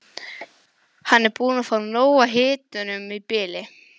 Hann er búinn að fá nóg af hitanum í bili.